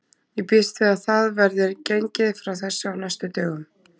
Ég býst við að það verði gengið frá þessu á næstu dögum.